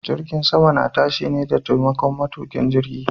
Jirgin sama na tashi ne da taimakon matuƙin jirgi.